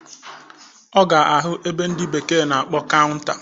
Ọ ga ahụ ebe ndị bekee na-akpọ kaụnta